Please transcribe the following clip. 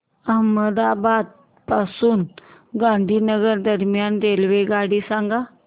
अहमदाबाद पासून गांधीनगर दरम्यान रेल्वेगाडी सांगा